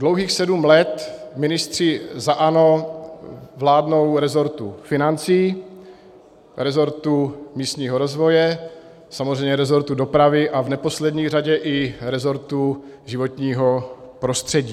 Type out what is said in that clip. Dlouhých sedm let ministři za ANO vládnou resortu financí, resortu místního rozvoje, samozřejmě resortu dopravy a v neposlední řadě i resortu životního prostředí.